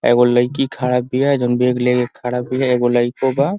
एगो लइकी खड़ा बिया। जउन बेग लेके खड़ा बिया। एगो लइको बा।